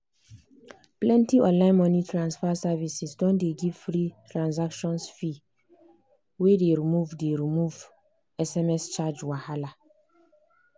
plenty online money transfer services don dey give free transactions fee wey dey remove dey remove sms charge wahala.